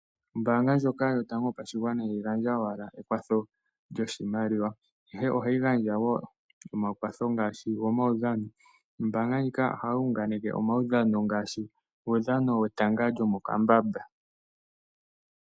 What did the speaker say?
Oombaanga ndyoka yotango yopashigwana iha yi gandja owala ekwatho lyoshimaliwa, ihe oha yi gandja woo omakwatho ngaashi gomaudhano. Ombaanga ndjika oha yi unganeke omaudhano ngaashi uudhano wetanga lyomokambamba.